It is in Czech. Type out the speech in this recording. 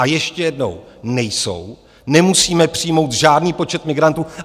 A ještě jednou - nejsou, nemusíme přijmout žádný počet migrantů.